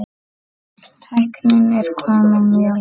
Tæknin er komin mjög langt.